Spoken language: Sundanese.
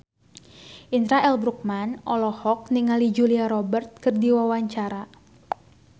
Indra L. Bruggman olohok ningali Julia Robert keur diwawancara